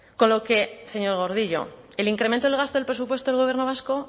con lo que señor gordillo el incremento del gasto del presupuesto del gobierno vasco